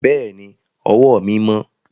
Bẹ́ẹ̀ ni, ọwọ́ mi mọ́.